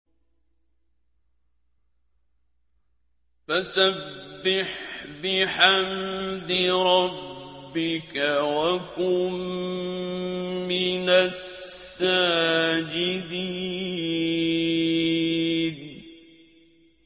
فَسَبِّحْ بِحَمْدِ رَبِّكَ وَكُن مِّنَ السَّاجِدِينَ